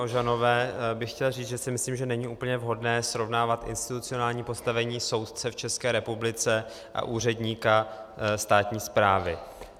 Ožanové bych chtěl říct, že si myslím, že není úplně vhodné srovnávat institucionální postavení soudce v České republice a úředníka státní správy.